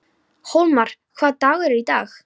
Hólmar, hvaða dagur er í dag?